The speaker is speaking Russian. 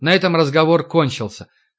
на этом разговор кончился